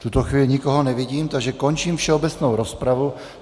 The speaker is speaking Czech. V tuto chvíli nikoho nevidím, takže končím všeobecnou rozpravu.